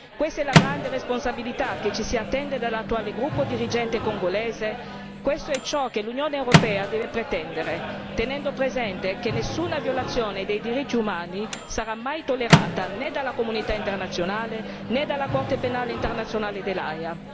Questa è la grande responsabilità che ci si attende dall'attuale gruppo dirigente congolese, questo è ciò che l'Unione europea deve pretendere, tenendo presente che nessuna violazione dei diritti umani sarà mai tollerata né dalla comunità internazionale, né dalla Corte penale internazionale dell'Aia.